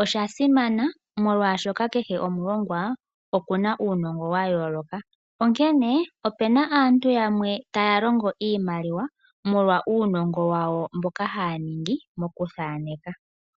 osha simana molwaashoka kehe omulongwa okuna uunongo wa yooloka. Onkene opena aantu yamwe taya longo iimaliwa molwa uunongo wawo mboka haya ningi mokuthaneka.